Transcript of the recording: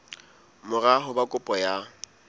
mora ho ba kopo ya